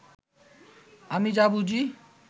আমি যা বুঝি